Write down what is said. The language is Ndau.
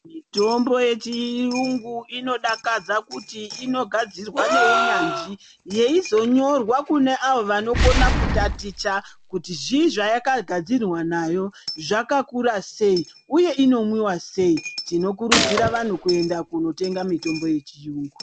Mitombo yechiyungu inodakadza kuti inogadzirwa neunyanzvi. Yeizonyorwa kune avo vanokona kutaticha kuti zvii zvayakagadzirwa nayo, zvakakura sei, uye inomwiva sei. Tinokurudzira vanhu kuenda kunotenga mitombo yechiyungu.